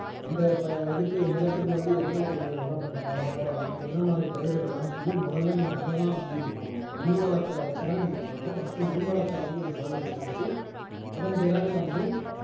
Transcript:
அந்த ப இதுக்கு நிலத்துக்கு வந்து என்ன உங்களுக்கு உரம் போடலாம் என்ன மாதிரி பயிரிடலாம்னு சொல்லி முதல்ல நீங்க அதைதான் வந்து இது பண்ணணும் மண் வளத்தை வச்சுதான் நீங்க பண்ணணும் first மண் வளத்தை வந்து நீங்க சோதனை செஞ்சுட்டு அதன் பிறகு வந்து